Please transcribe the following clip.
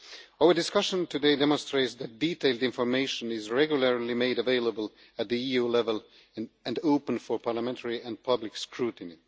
Our discussion today demonstrates that detailed information is regularly made available at EU level and open for parliamentary and public scrutiny.